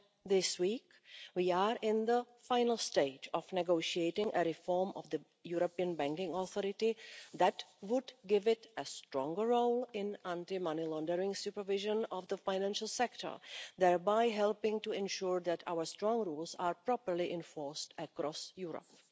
This week, we are in the final stage of negotiating a reform of the European Banking Authority that would give it a stronger role in anti-money laundering supervision of the financial sector, thereby helping to ensure that our strong rules are properly enforced across Europe.